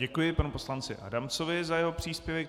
Děkuji panu poslanci Adamcovi za jeho příspěvek.